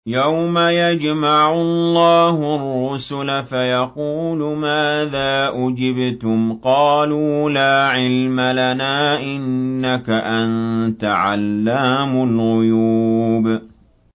۞ يَوْمَ يَجْمَعُ اللَّهُ الرُّسُلَ فَيَقُولُ مَاذَا أُجِبْتُمْ ۖ قَالُوا لَا عِلْمَ لَنَا ۖ إِنَّكَ أَنتَ عَلَّامُ الْغُيُوبِ